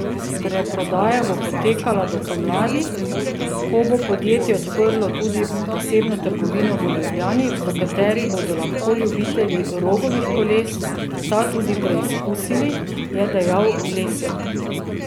Predprodaja bo potekala do pomladi, ko bo podjetje odprlo tudi posebno trgovino v Ljubljani, v kateri bodo lahko ljubitelji Rogovih koles ta tudi preizkusili, je dejal Lesjak.